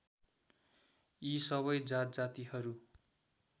यी सबै जातजातिहरू